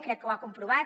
crec que ho ha comprovat